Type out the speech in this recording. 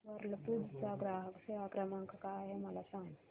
Whirlpool चा ग्राहक सेवा क्रमांक काय आहे मला सांग